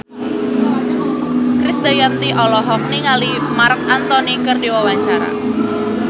Krisdayanti olohok ningali Marc Anthony keur diwawancara